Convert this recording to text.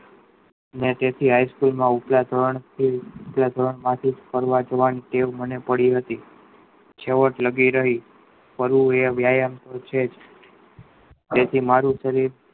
અને તે થી High School માં ઉપલા ધોરણ નું ઉપલા ધોરણ માંથી ફરવા જવાનું ટેવ મને પડી હતી છેવટ લગી રહી મને એ વ્યાયામ તોજ છે એ થી મારું શરીર